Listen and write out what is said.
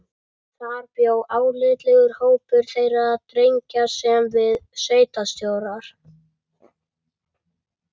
Þar bjó álitlegur hópur þeirra drengja sem við sveitarstjórar